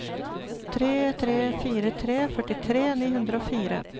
tre tre fire tre førtitre ni hundre og fire